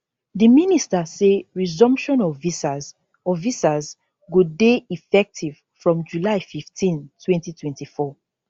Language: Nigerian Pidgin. di minister say resumption of visas of visas go dey effective from july 15 2024